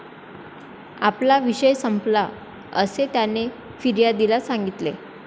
आपला विषय संपला, असे त्याने फिर्यादीला सांगितले.